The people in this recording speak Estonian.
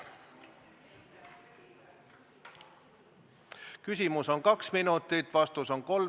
Istungi lõpp kell 13.57.